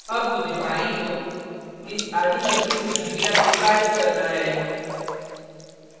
अब मुझे बाईं ओर इस आधी cut हुए चिड़िया को गायब करना है